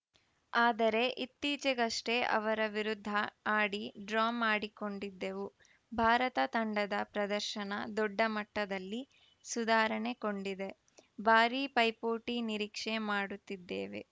ಆದರೆ ಇತ್ತೀಚೆಗಷ್ಟೇ ಅವರ ವಿರುದ್ಧ ಆಡಿ ಡ್ರಾ ಮಾಡಿಕೊಂಡೆದ್ದೆವು ಭಾರತ ತಂಡದ ಪ್ರದರ್ಶನ ದೊಡ್ಡ ಮಟ್ಟದಲ್ಲಿ ಸುಧಾರಣೆ ಕೊಂಡಿದೆ ಭಾರೀ ಪೈಪೋಟಿ ನಿರೀಕ್ಷೆ ಮಾಡುತ್ತಿದ್ದೇವೆ